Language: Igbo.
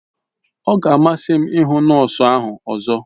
Ọ ga amasị m ịhụ nọọsụ ahụ ọzọ